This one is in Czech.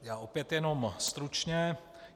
Já opět jenom stručně.